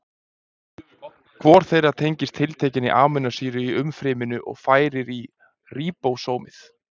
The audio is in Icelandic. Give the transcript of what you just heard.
Hver þeirra tengist tiltekinni amínósýru í umfryminu og færir í ríbósómið.